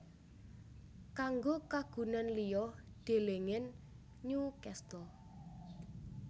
Kanggo kagunan liya delengen Newcastle